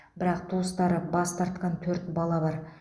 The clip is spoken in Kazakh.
бірақ туыстары бас тартқан төрт бала бар